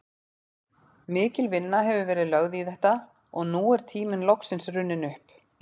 Mikil vinna hefur verið lögð í þetta og nú er tíminn loksins runninn upp.